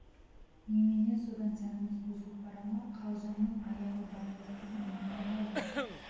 немене содан сәніміз бұзылып бара ма қалжыңның аяғы бара жатқаны ұнамай қалды